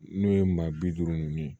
N'o ye maa bi duuru ni ye